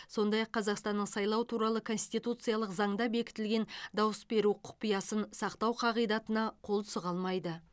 сондай ақ қазақстанның сайлау туралы конституциялық заңда бекітілген дауыс беру құпиясын сақтау қағидатына қол сұға алмайды